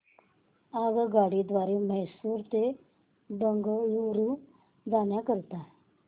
आगगाडी द्वारे मैसूर ते बंगळुरू जाण्या करीता